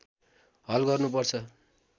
हल गर्नु पर्छ